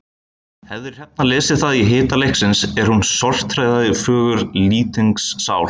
Hefði Hrefna lesið það í hita leiksins er hún sorteraði föggur Lýtings sál.